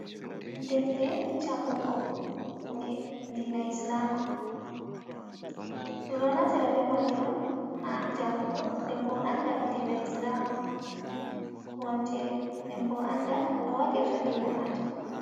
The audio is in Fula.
Defte jangugo, ɗe diina islama, ɗum ɗo natira be maaji on haa jangugo, nden bo anda dina islama kowontiri, nden bo anda no waɗirta diina maajum.